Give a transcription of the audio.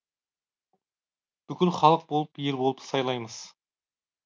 бүкіл халық болып ел болып сайлаймыз